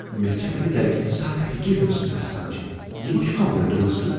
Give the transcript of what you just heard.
مےٚ چھےٚ امہ دگہ ہٕنٛز سخ فکر یۄس مےٚ آسان چھےٚ؟ یہ ما چھُ کانہہ وٕلٹہٕ مسلہٕ؟